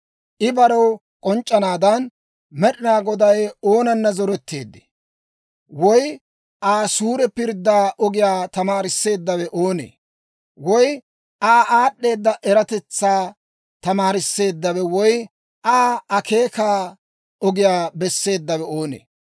I barew k'onc'c'anaadan, Med'inaa Goday oonana zoretteedee? Woy Aa suure pirddaa ogiyaa tamaarisseeddawe oonee? Woy Aa aad'd'eeda eratetsaa tamaarisseeddawe woy Aa akeekaa ogiyaa besseeddawe oonee?